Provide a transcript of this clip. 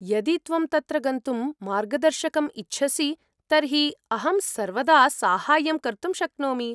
यदि त्वं तत्र गन्तुं मार्गदर्शकम् इच्छसि तर्हि अहं सर्वदा साहाय्यं कर्तुं शक्नोमि।